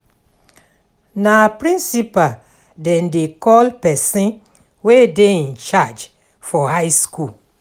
Na principal dem dey call pesin wey dey in charge for high skool.